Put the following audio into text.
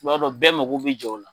I b'a dɔn bɛɛ mako bi jɔ o la.